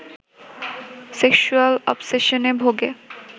sexual অবসেশনে ভোগে